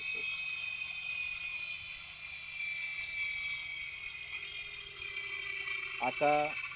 आता